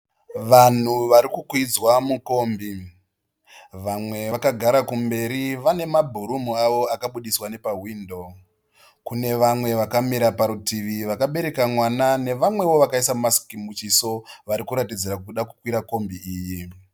Vanhu vari kukwidzwa mukombi. Vamwe vakagara kumberi vane mabhurumu avo akabudiswa nepawindoo. Kune vamwe vakamira parutivi vakabereka mwana nevamwewo vakaisa masiki muchiso vari kuratidza kuda kukwira kombi iyi.